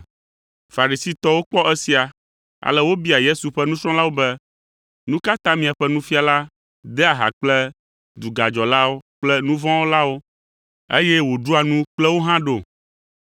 Farisitɔwo kpɔ esia, ale wobia Yesu ƒe nusrɔ̃lawo be, “Nu ka ta miaƒe nufiala dea ha kple dugadzɔlawo kple nu vɔ̃ wɔlawo, eye woɖua nu kple wo hã ɖo?”